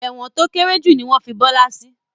Ẹ̀wọ̀n to kéré jù ni wọn fí Bọlá sì